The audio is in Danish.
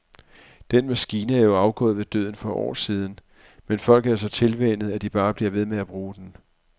Den maskine er jo afgået ved døden for år siden, men folk er så tilvænnet, at de bare bliver ved med at bruge den.